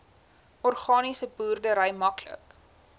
organiese boerdery maklik